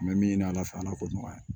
N bɛ min ɲini ala fɛ ala k'o nɔgɔya